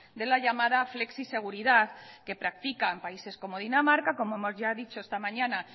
de la llamada flexiseguridad que practican países como dinamarca como hemos ya dicho esta mañana